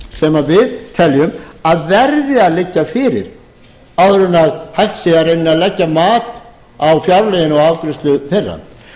sem við teljum að verði að liggja fyrir áður en hægt sé í rauninni að leggja mat á fjárlögin og afgreiðslu þeirra